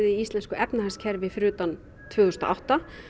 í íslensku efnahagskerfi fyrir utan tvö þúsund og átta